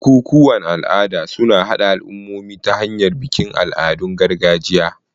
Bukukuwan al'ada suna haɗa al'ummomi ta hanyar bikin al'adun gargajiya.